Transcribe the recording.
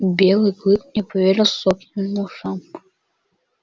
белый клык не поверил собственным ушам